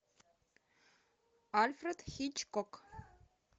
альфред хичкок